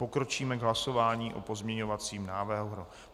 Pokročíme k hlasování o pozměňovacím návrhu.